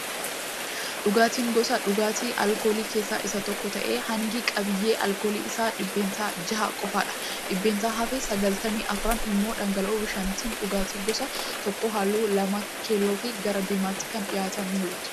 Daankiiraan, Gosa dhugaatii alkoolii keessa isa tokko ta'ee hangi qabiyyee alkoolii isaa dhiibbeentaa ja'a qofaadha. Dhiibbeentaa hafe sagaltamii arfan immoo dhangala'oo bishaaniti. Dhugaatii gosa tokko halluu lamaa keelloofi gara diimaatti kan dhiyatuun ni mul'atu.